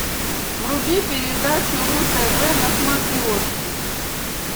вруби передачу ру тв на смотрешке